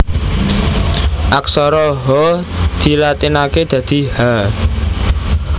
Aksara Ha dilatinaké dadi Ha